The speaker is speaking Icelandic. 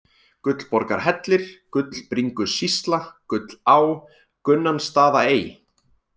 Gullborgarhellir, Gullbringusýsla, Gullá, Gunnansstaðaey